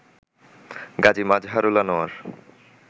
Gazi Mazharul Anwar